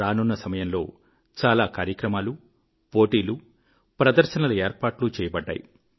రానున్న సమయంలో చాలా కార్యక్రమాలు పోటీలు ప్రదర్శనల ఏర్పాట్లు చేయబడ్డాయి